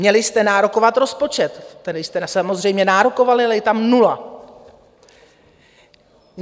Měli jste nárokovat rozpočet, který jste samozřejmě nárokovali, ale je tam nula.